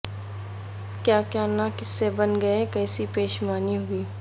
کیا کیا نہ قصے بن گئے کیسی پشیمانی ہوئی